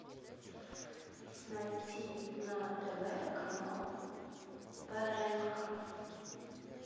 найти на тв канал прнк